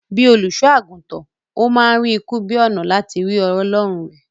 Bíi olùṣọ-àgùntàn, ó ma ń rí ikú bíi ònà láti rí ọlọrun rẹ̀